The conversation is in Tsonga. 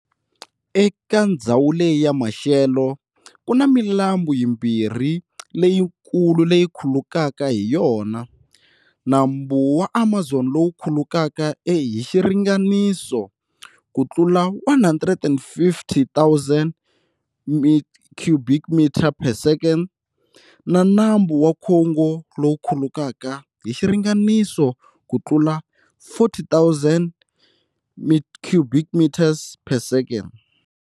Eka ndzhawu leyi ya maxelo, kuna milambu yimbirhi leyikulu leyi khulukaka hi yona-nambu wa Amazon lowu khulukaka hi xiringaniso kutlula 150,000 cubic meters per second na nambu wa Congo lowu khulukaka hi xiringaniso kutlula 40,000 cubic meters per second.